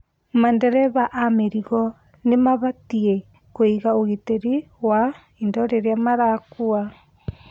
Madereba a mĩrigo nĩ mabatĩi kũiga ũgitĩri wa indo iria marakua